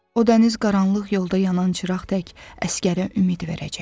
O dəniz qaranlıq yolda yanan çıraq tək əsgərə ümid verəcək.